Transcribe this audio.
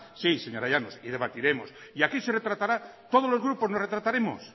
sí señora llanos y debatiremos y aquí se retratará todos los grupos nos retrataremos